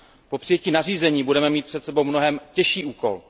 Po přijetí nařízení budeme mít před sebou mnohem těžší úkol.